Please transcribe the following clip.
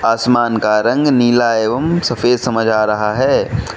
आसमान का रंग नीला एवं सफेद समझ आ रहा है।